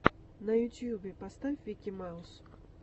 на ютьюбе поставь вики маус